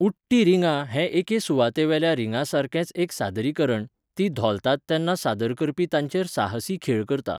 उडटीं रिंगां हें एके सुवातेवेल्या रिंगांसारकेंच एक सादरीकरण, तीं धोलतात तेन्ना सादर करपी तांचेर साहसी खेळ करता.